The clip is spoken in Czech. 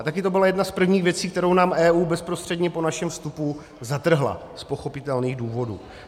A také to byla jedna z prvních věcí, kterou nám EU bezprostředně po našem vstupu zatrhla z pochopitelných důvodů.